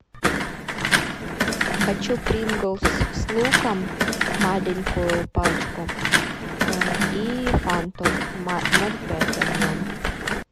хочу принглс с луком маленькую пачку и фанту ноль пять объем